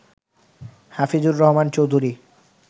Hafizur Rahman Chowdhury